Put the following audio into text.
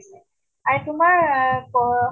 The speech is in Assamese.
আৰু তোমাৰ আহ পহ